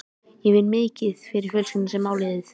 Ég vinn mikið fyrir fjölskylduna sem á liðið.